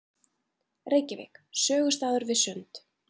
Reykjavík: sögustaður við Sund.